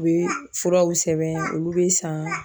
U bɛ furaw sɛbɛn olu bɛ san.